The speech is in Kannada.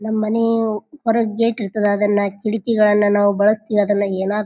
ನಮ್ ಮನೆ ಹೊರಗ್ ಗೇಟ್ ಇರ್ತದ ಅದನ್ನ ಕಿಟಕಿಗಳನ್ನ ನಾವ್ ಬಳಸ್ತಿವಿ ಅದನ್ನ ಯೇನ --